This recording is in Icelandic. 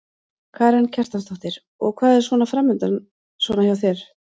Karen Kjartansdóttir: Og hvað er svona framundan svona hjá þér núna?